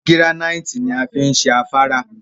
Gíránìtì ni a fi n ṣe afárá